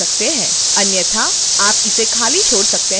अन्यथा आप इसे खाली छोड़ सकते हैं